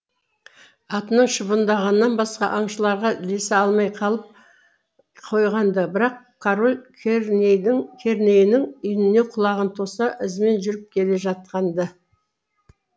атының шыбындығынан басқа аңшыларға ілесе алмай қалып қойған ды бірақ король кернейінің үніне құлағын тоса ізімен жүріп келе жатқан ды